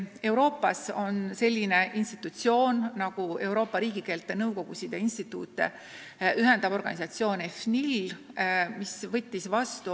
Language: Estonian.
Euroopas on niisugune organisatsioon nagu Euroopa riigikeelte nõukogusid ja instituute ühendav EFNIL.